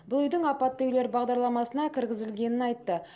бұл үйдің апатты үйлер бағдарламасына кіргізілгенін айтты